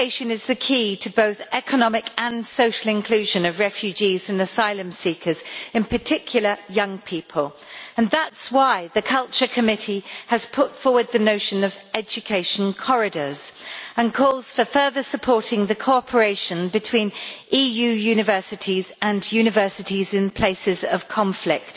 Education is the key to both economic and social inclusion of refugees and asylum seekers, in particular young people, and that is why the Committee on Culture has put forward the notion of education corridors, and why it calls for further supporting the cooperation between EU universities and universities in places of conflict